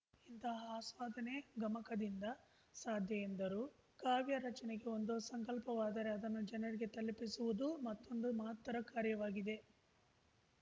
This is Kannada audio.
ಇಂತಹ ಆಸ್ವಾದನೆ ಗಮಕದಿಂದ ಸಾಧ್ಯ ಎಂದರು ಕಾವ್ಯ ರಚನೆಗೆ ಒಂದು ಸಂಕಲ್ಪವಾದರೆ ಅದನ್ನು ಜನರಿಗೆ ತಲುಪಿಸುವುದು ಮತ್ತೊಂದು ಮಹತ್ತರ ಕಾರ್ಯವಾಗಿದೆ